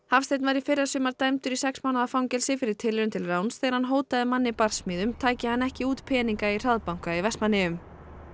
Hafsteinn var í fyrrasumar dæmdur í sex mánaða fangelsi fyrir tilraun til ráns þegar hann hótaði manni barsmíðum tæki hann ekki út peninga í hraðbanka í Vestmannaeyjum